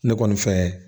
Ne kɔni fɛ